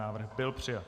Návrh byl přijat.